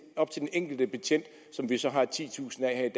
enkelte betjent som vi så har titusind af